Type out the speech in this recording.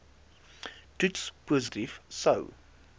toets positief sou